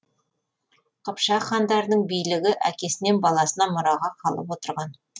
қыпшақ хандарының билігі әкесінен баласына мұраға қалып отырған